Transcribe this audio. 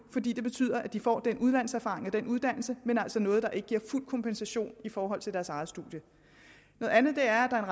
fordi det betyder at de får den udlandserfaring og uddannelse men det er altså noget der ikke giver fuld kompensation i forhold til deres eget studie noget andet er at der er